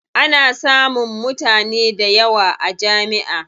Ana samun mutane dayawa a jami'a.